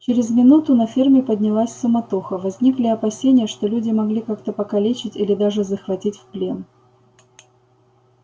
через минуту на ферме поднялась суматоха возникли опасения что люди могли как-то покалечить или даже захватить в плен